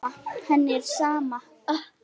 Henni er sama.